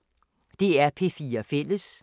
DR P4 Fælles